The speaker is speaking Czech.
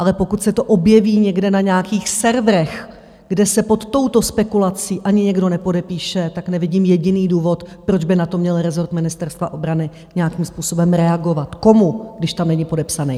Ale pokud se to objeví někde na nějakých serverech, kde se pod touto spekulací ani nikdo nepodepíše, tak nevidím jediný důvod, proč by na to měl rezort Ministerstva obrany nějakým způsobem reagovat - komu, když tam není podepsaný?